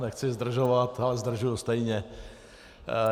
Nechci zdržovat, ale zdržuji stejně.